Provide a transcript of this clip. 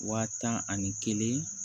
Waa tan ani kelen